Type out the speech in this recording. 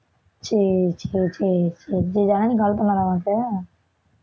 சரி சரி சரி சரி ஜனனி call பண்ணாளா உனக்கு?